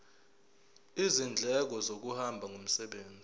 izindleko zokuhamba ngomsebenzi